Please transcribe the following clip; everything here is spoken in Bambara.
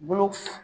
Bolo